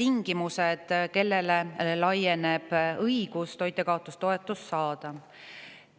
tingimused, kellele laieneb õigus toitjakaotustoetust saada.